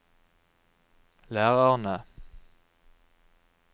lærerne